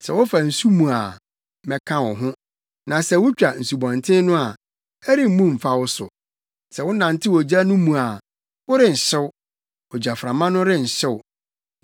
Sɛ wofa nsu mu a, mɛka wo ho; na sɛ wutwa nsubɔnten no a, ɛremmu mfa wo so. Sɛ wonantew ogya no mu a, worenhyew; ogyaframa no renhye wo.